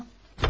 Tamam, tamam.